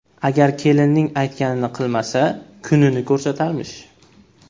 Agar kelinning aytganini qilmasa, kunini ko‘rsatarmish.